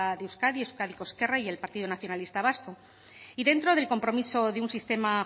de euskadi euskadiko ezkerra y el partido nacionalista vasco y dentro del compromiso de un sistema